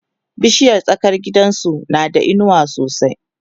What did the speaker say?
bishiyar tsakar gidansu na da inuwa sosai